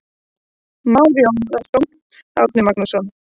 Már Jónsson, Árni Magnússon.